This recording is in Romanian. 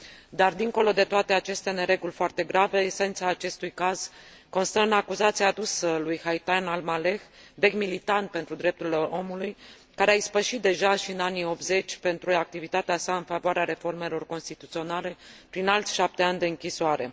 Dar dincolo de toate aceste nereguli foarte grave, esența acestui caz constă în acuzația adusă lui Haitham Al Maleh, vechi militant pentru drepturile omului, care a ispășit deja și în anii '80, pentru activitatea sa în favoarea reformelor constituționale, prin alți 7 ani de închisoare.